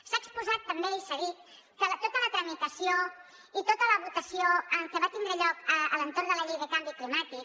s’ha exposat també i s’ha dit que tota la tramitació i tota la votació que va tindre lloc a l’entorn de la llei de canvi climàtic